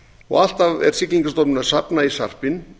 og alltaf er siglingastofnun að safna í sarpinn